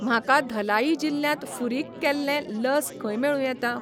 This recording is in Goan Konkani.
म्हाका धलाई जिल्ल्यांत फुरीक केल्लें लस खंय मेळूं येता?